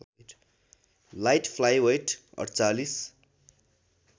light flyweight ४८